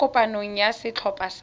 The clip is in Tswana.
kwa kopanong ya setlhopha sa